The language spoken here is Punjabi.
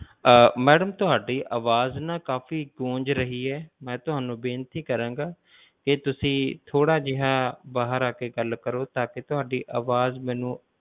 ਆਹ madam ਤੁਹਾਡੀ ਅਵਾਜ ਨਾ ਕਾਫੀ ਗੂੰਜ ਰਹੀ ਹੈ, ਮੈਂ ਤੁਹਾਨੂੰ ਬੇਨਤੀ ਕਰਾਂਗਾ ਕਿ ਤੁਸੀਂ ਥੋੜਾ ਜਿਹਾ ਬਾਹਰ ਆਕੇ ਗੱਲ ਕਰੋ ਤਾਂ ਕਿ ਤੁਹਾਡੀ ਅਵਾਜ਼ ਮੈਨੂੰ,